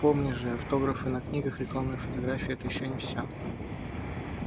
пойми же автографы на книгах рекламные фотографии это ещё не все